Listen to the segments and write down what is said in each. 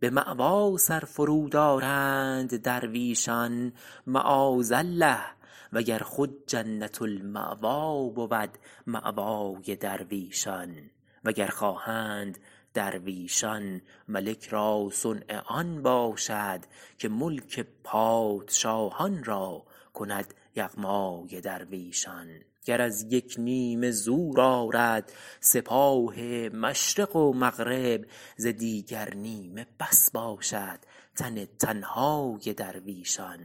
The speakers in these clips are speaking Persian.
به مأوی سر فرود آرند درویشان معاذ الله وگر خود جنت المأوی بود مأوای درویشان وگر خواهند درویشان ملک را صنع آن باشد که ملک پادشاهان را کند یغمای درویشان گر از یک نیمه زور آرد سپاه مشرق و مغرب ز دیگر نیمه بس باشد تن تنهای درویشان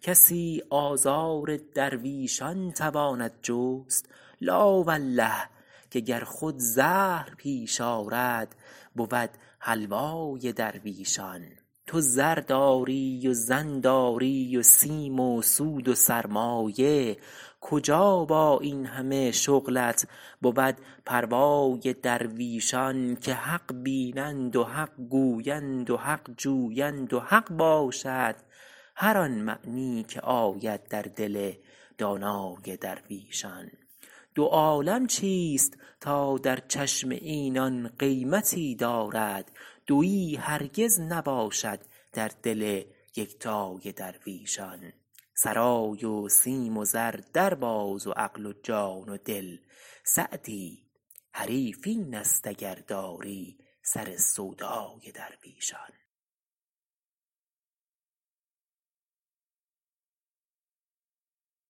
کسی آزار درویشان تواند جست لا والله که گر خود زهر پیش آرد بود حلوای درویشان تو زر داری و زن داری و سیم و سود و سرمایه کجا با این همه شغلت بود پروای درویشان که حق بینند و حق گویند و حق جویند و حق باشد هر آن معنی که آید در دل دانای درویشان دو عالم چیست تا در چشم اینان قیمتی دارد دویی هرگز نباشد در دل یکتای درویشان سرای و سیم و زر در باز و عقل و جان و دل سعدی حریف این است اگر داری سر سودای درویشان